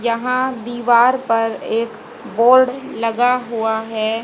यहां दीवार पर एक बोर्ड लगा हुआ है।